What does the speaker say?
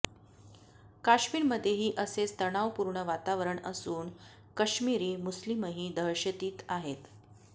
कश्मीरमध्येही असेच तणावपूर्ण वातावरण असून कश्मीरी मुस्लीमही दहशतीत आहेत